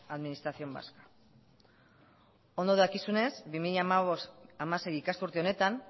administración vasca ondo dakizunez bi mila hamabost hamasei ikasturte honetan